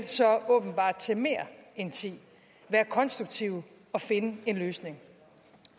til mere end ti være konstruktive og finde en løsning